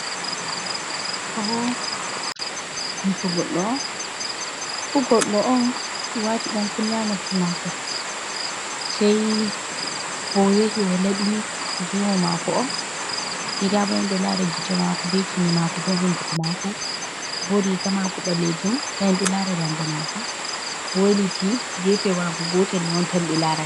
Ɗo ɓo, yeso goɗɗo on. Goɗɗo on, o waati ɗan kunne haa noppi maako. Sai ba o yahi o laɓi gemu maako on. Sai nda bo en ɗo lara gite maako, be kine maako, be hunduko maako. Bo riga maako ɓalejum. Nda en ɗo laara daande maako. O weliti, gefe maako gotel mai on tan ɓe laara.